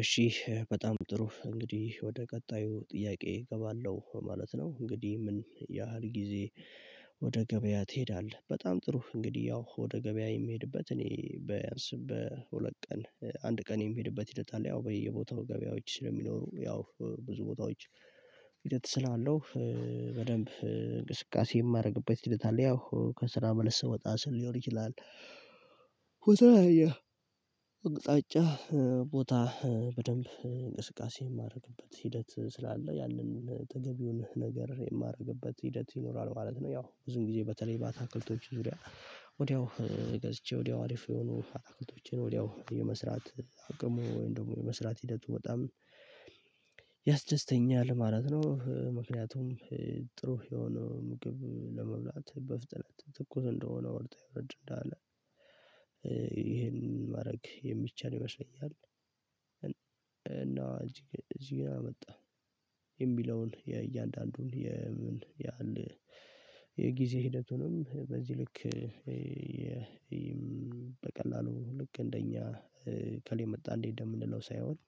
እሺ በጣም ጥሩ እንግዲህ ወደ ቀጣዩ ጥያቄ እገባለሁ ማለት ነው እንግዲህ ምን ያህል ጊዜ እሺ በጣም ጥሩ እንግዲህ ወደ ቀጣዩ ጥያቄ እገባለሁ ማለት ነው እንግዲህ ምን ያህል ጊዜ በደንብ እንቅስቃሴ የማረግበት ሂደት አለ ያው ከስራ መልስ ወጣ ስል ሊሆን ይችላል በተለያየ አቅጣጫ ቦታ በደንብ እንቅስቃሴ የማደርግበት ሂደት ስላለ ያንን ተገቢውን ነገር የማደርግበት ሂደት ይኖራል ማለት ነው። ያው ብዙ ጊዜ በተለይ ባታክልቶች ዙሪያ ወዲያው ገዝቼ ወዲያው አሪፉን አትክልቶችን ወዲያው የመስራት አቅም እንዲሁም የመስራት ሂደቱ በጣም ያስደስተኛል ማለት ነው ምክንያቱም ጥሩ የሆነ ምግብ ለመብላት በፍጥነት ትኩስ እንደሆነ ወርጥ ወረድ እንዳለ ይሄንን ማድረግ የሚቻል ይመስለኛል። እና እዚህ ግን አመጣ የሚለውን የእያንዳንዱን የምን ያህል የጊዜ ሂደቱንም በዚህ ልክ በቀላሉ ልክ እንደኛ እከሌ መጣ እንዴ እንደምንለው ሳይሆን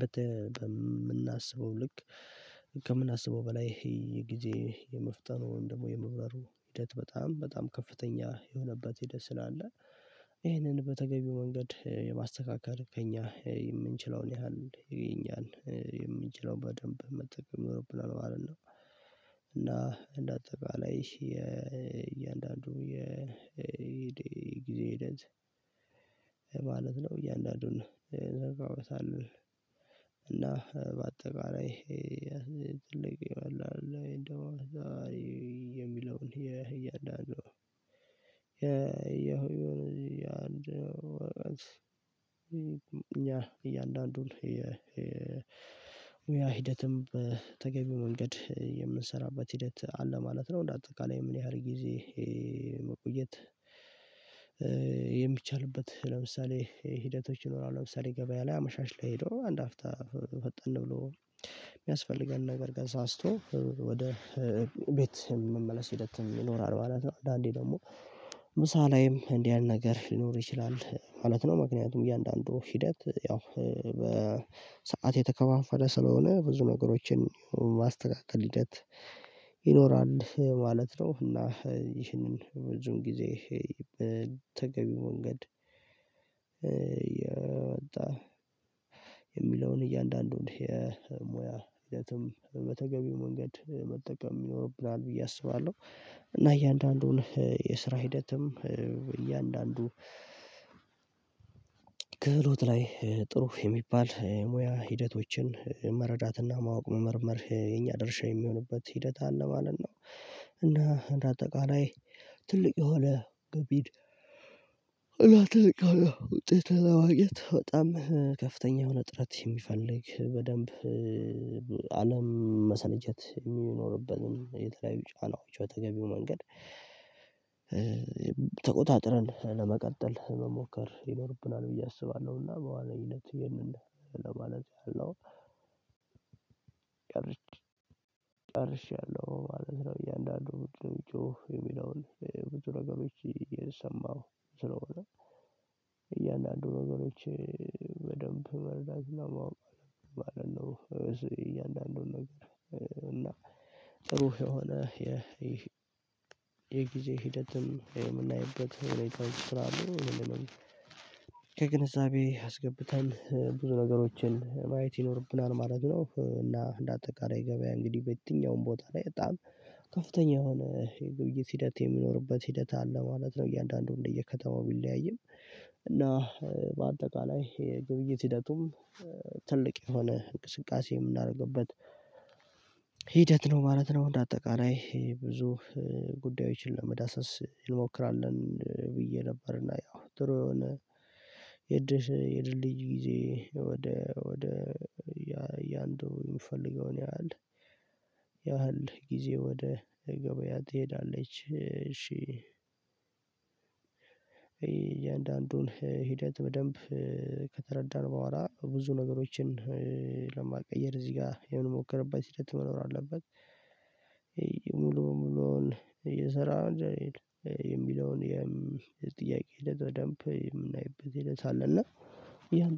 በተ በምናስበው ልክ ከምናስበው በላይ ይሄ የጊዜ የመፍጠኑ ወይም ደግሞ የመብራሩ ሂደት በጣም በጣም ከፍተኛ የሆነባት ደስ ስላለ ይሄንን በተገቢው መንገድ የማስተካከል ከእኛ የምንችለውን ያህል ይገኛል። የምንችለውን በደንብ መጠቀም የሆነው ብለን ማለት ነው። እና እንደ አጠቃላይ የእያንዳንዱ የጊዜ ሂደት ማለት ነው እያንዳንዱን እዘርጋውታል እና በአጠቃላይ ይሄ የሚለውን ይሄ እያንዳንዱ ነው እያንዳንዱ እኛ እያንዳንዱን የሙያ ሂደትም በተገቢው መንገድ የምንሰራበት ሂደት አለ ማለት ነው እንደ አጠቃላይ ምን ያህል ጊዜ መቆየት የሚቻልበት ለምሳሌ ሂደቶች ይኖራሉ ለምሳሌ ገበያ ላይ አመሻሽ ላይ ሄዶ አንድ አፍታ ፈጠን ብሎ እሚያስፈልገንን ነገር ገዛ አስቶ ወደ ቤትህ መመለስ ሂደትም ይኖራል ማለት ነው አንዳንዴ ደግሞ ምሳ ላይም እንዲህ ያለ ነገር ሊኖር ይችላል ማለት ነው ምክንያቱም እያንዳንዱ ሂደት ያው በሰአት የተከፋፈለ ስለሆነ ብዙ ነገሮችን ማስተካከል ሂደት ይኖራል ማለት ነው እና ይህንን ብዙውን ጊዜ በተገቢ መንገድ የሚለውን እያንዳንዱን የሙያ ሂደትም በተገቢው መንገድ መጠቀም ይኖርብናል ብዬ አስባለሁ እና እያንዳንዱን የስራ ሂደትም እያንዳንዱ ክህሎት ላይ ጥሩ የሚባል ሙያ ሂደቶችን መረዳትና ማወቅ መመርመር የኛ ደርሻ የሚሆንበት ሂደት አለ ማለት ነው እና እንደ አጠቃላይ ትልቅ የሆነ ገቢ እና ጠቃሚ ውጤት ለማግኘት በጣም ከፍተኛ የሆነ ጥረት የሚፈልግ በደንብ መሰልቸት የሚኖርበትን የተለያዩ ጫናዎች በተገቢው መንገድ ተቆጣጥረን ለመቀጠል መሞከር ይኖርብናል ብዬ አስባለሁና በዋና ሂደት ይሄንን ለማለት ያህል ነው ጨርሼያለሁ ማለት ነው እያንዳንዱ ብዙ የሚጮህ የሚለውን ብዙ ነገሮች እየሰማሁ ስለሆነ ነገሮች በደንብ መረዳት እና ማወቅ ማለት ነው እያንዳንዱን ነገር እና ጥሩ የሆነ የጊዜ ሂደትም የምናይበት የሆነ ትራዲሽን አለ ከግንዛቤ አስገብተን ብዙ ነገሮችን ማየት ይኖርብናል ማለት ነው እና እንደ አጠቃላይ ገበያ እንግዲህ በየትኛውም ቦታ ላይ በጣም ከፍተኛ የሆነ የግብይት ሂደት የሚኖርበት ሂደት አለ ማለት ነው እያንዳንዱ እንደየከተማው ቢለያይም በአጠቃላይ የግብይት ሂደቱም ትልቅ የሆነ እንቅስቃሴ የምናደርግበት ሂደት ነው ማለት ነው እንደ አጠቃላይ ይሄ ብዙ ጉዳዮችን ለመዳሰስ እንሞክራለን ብዬ ነበርና ያው ጥሩ የሆነ የድል የድል ጊዜ ወደ ወደ ያንዱ የሚፈልገውን ያህል ያህል ጊዜ ወደ ገበያ ትሄዳለች እሺ እያንዳንዱን ሂደት በደንብ ከተረዳን በኋላ ብዙ ነገሮችን ለማቀየር እዚህ ጋር የምንሞክርበት ሂደት መኖር አለበት ሙሉ ሙሉውን እየሰራ እንደሌለ የሚለውን የምንጠይቀው ደንብ የምናይበት ይሄን ሳለ እና